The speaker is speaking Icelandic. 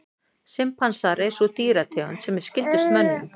Simpansar er sú dýrategund sem er skyldust mönnum.